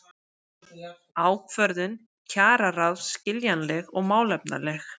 Ákvörðun kjararáðs skiljanleg og málefnaleg